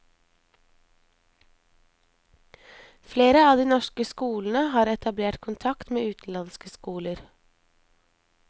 Flere av de norske skolene har etablert kontakt med utenlandske skoler.